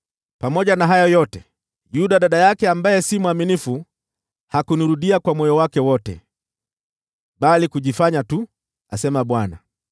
Pamoja na hayo yote, Yuda dada yake mdanganyifu hakunirudia kwa moyo wake wote, bali kwa kujifanya tu,” asema Bwana .